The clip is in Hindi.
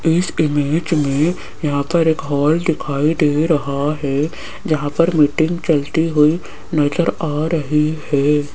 इस इमेज मे यहां पर एक हॉल दिखाई दे रहा है जहां पर मीटिंग चलती हुई नज़र आ रही है।